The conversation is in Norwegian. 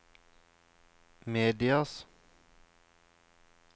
medias